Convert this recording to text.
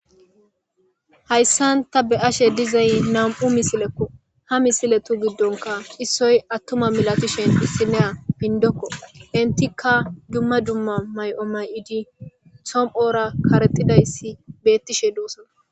hayssan ta be ashe dizay nam7u misilekko ha misile tu giddonka issoy attuma milatishen hissineya hindokko intikka dumma dumma may7o may7idi som7hora karexidayssi beettishe doossa